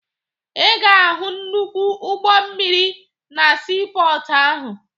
Ị ga-ahụ nnukwu ụgbọ mmiri na siipọọtụ ahụ